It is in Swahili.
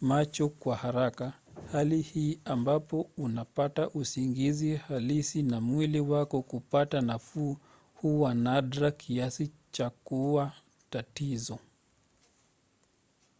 macho kwa haraka hali hii ambapo unapata usingizi halisi na mwili wako kupata nafuu huwa nadra kiasi cha kuwa tatizo